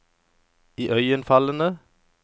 iøynefallende